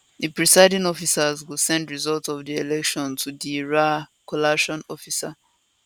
di presiding officers go send results of di election to di ra collation officer